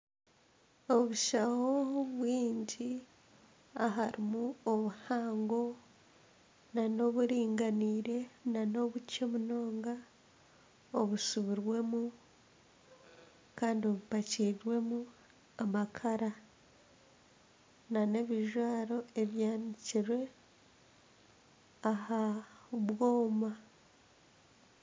Obushaho bwingi harimu obuhango nana oburinganiire nana obukye munonga obusibirwemu kandi bupakiirwemu amakara nana ebijwaro ebyanikirwe aha bwoma.